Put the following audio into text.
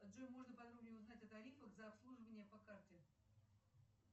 джой можно подробнее узнать о тарифах за обслуживание по карте